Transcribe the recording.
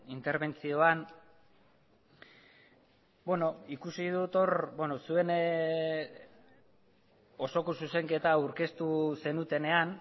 interbentzioan ikusi dut hor zuen osoko zuzenketa aurkeztu zenutenean